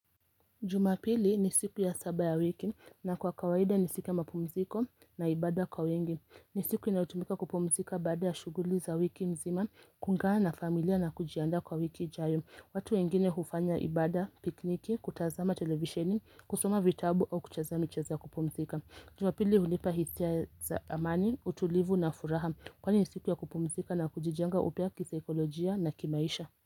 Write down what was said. Jumapili ni siku ya saba ya wiki na kwa kawaida ni siku mapumziko na ibada kwa wengi ni siku inayotumika kupumzika baada ya shughuli za wiki mzima, kungana na familia na kujianda kwa wiki ijayo watu wengine hufanya ibada, pikniki, kutazama televisheni, kusoma vitabu au kuchez mchezo ya kupumzika Jumapili hunipa hisia za amani, utulivu na furaha Kwani siku ya kupumzika na kujijenga upya kisaikolojia na kimaisha.